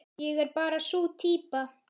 Ég er bara sú týpa.